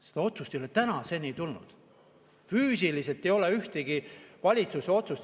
Mingit otsust valitsuselt ei ole tänaseni tulnud.